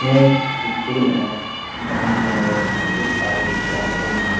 यह एक स्कूल है जहाँ पर बहुत सारे विद्यार्थी --